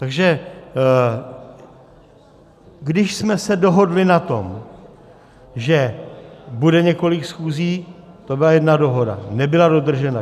Takže když jsme se dohodli na tom, že bude několik schůzí, to byla jedna dohoda, nebyla dodržena.